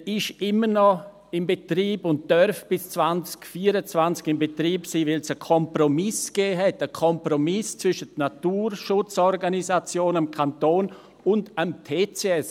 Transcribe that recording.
Er ist immer noch in Betrieb und darf bis 2024 in Betrieb sein, weil es einen Kompromiss gab, einen Kompromiss zwischen den Naturschutzorganisationen, dem Kanton und dem TCS.